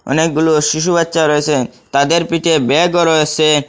অনেকগুলো শিশু বাচ্চা রয়েসে তাদের পিঠে ব্যাগও রয়েসে।